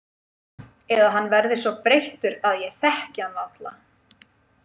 Eða hann verði svo breyttur að ég þekki hann varla.